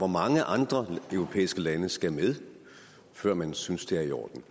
mange andre europæiske lande der skal med før man synes det er i orden